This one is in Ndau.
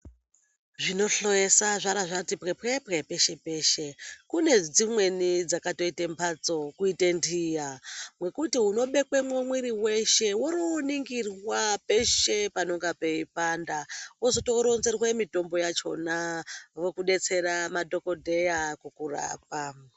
Zvinohloyesa zvara zvati pwepwepwe peshe -peshe. Kune dzimweni dzakatoite mbatso kuite ntiya mwekuti unobekwemwo mwiri weshe worowoningirwa peshe panonge peipanda wozotoronzerwe mitombo yachona vokudetsera madhokodheya kukurapa.